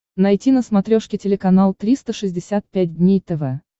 найти на смотрешке телеканал триста шестьдесят пять дней тв